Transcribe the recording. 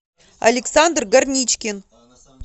александр горничкин